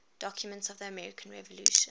documents of the american revolution